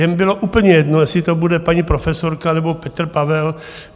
Jim bylo úplně jedno, jestli to bude paní profesorka, nebo Petr Pavel.